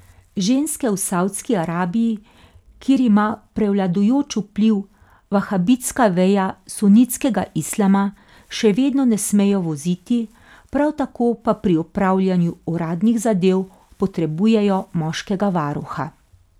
Ženske v Saudski Arabiji, kjer ima prevladujoč vpliv vahabitska veja sunitskega islama, še vedno ne smejo voziti, prav tako pa pri opravljanju uradnih zadev potrebujejo moškega varuha.